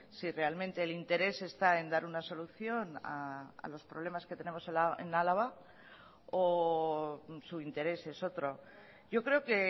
si realmente el interés está en dar una solución a los problemas que tenemos en álava o su interés es otro yo creo que